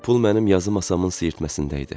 Pul mənim yazı masamın siyirtməsində idi.